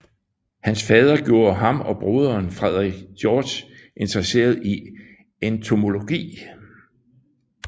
Hans fader gjorde ham og broderen Frederick George interesserede i entomologi